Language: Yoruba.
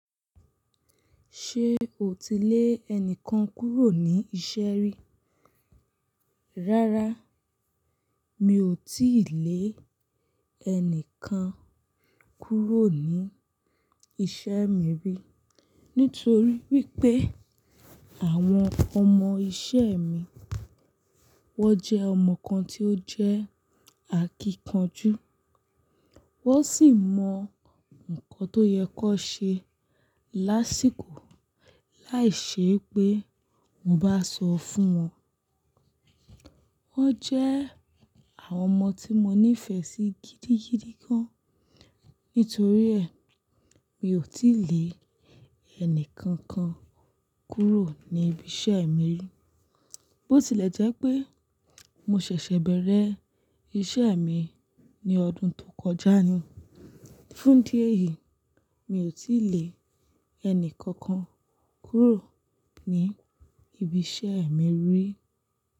Ṣé o ti lé ẹnìkan kúrò ní iṣẹ́ rí? Rárá, mi ò tíì lé ẹni kan kúrò ní iṣẹ́ mi rí. Nítorí wípé àwọn ọmọ iṣẹ́ mi, wón jẹ́ ọmọ kan tí ó jẹ́ akíkanjú. Wón sì mọ nǹkan tó yẹ kó ṣe lásìkò láìṣe pé mo bá sọ fún wọn. Wón jẹ́ àwọn ọmọ tí mo nífẹ̀ẹ́ sí gidigidi gan. Nítorí ẹ, mi ò tí lè ẹni kankan kúrò ní ibi iṣẹ́ mi. Bó tilẹ̀ jẹ́ pé mo ṣẹ̀ṣẹ̀ bẹ̀rẹ̀ iṣẹ́ mi ní ọdún tó kọjá ni. Fún idí ẹ̀yìí, mi ò tí lè ẹni kankan kúrò ní ibi iṣẹ́ mi rí.